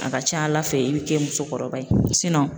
A ka ca ala fɛ i bɛ kɛ musokɔrɔba ye